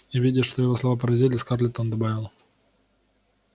и видя что его слова поразили скарлетт он добавил